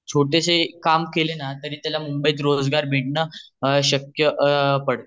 छोटेशे काम जारी केले न तरी त्याला मुंबईत रोजगार मिळने शक्य आहे